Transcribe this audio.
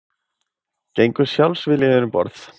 Gengu sjálfviljugir um borð